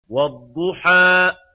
وَالضُّحَىٰ